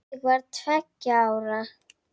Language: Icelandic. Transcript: Ég var tveggja ára.